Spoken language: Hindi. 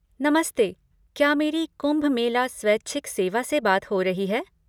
नमस्ते, क्या मेरी कुम्भ मेला स्वैच्छिक सेवा से बात हो रही है?